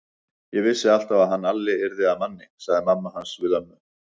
Ég vissi alltaf að hann Alli yrði að manni, sagði mamma hans við ömmu.